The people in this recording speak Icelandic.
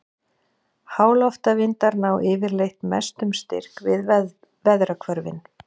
Háloftavindar ná yfirleitt mestum styrk við veðrahvörfin.